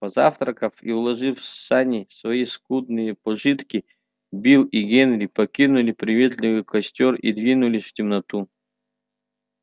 позавтракав и уложив в сани свои скудные пожитки билл и генри покинули приветливый костёр и двинулись в темноту